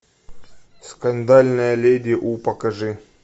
скандальная леди у покажи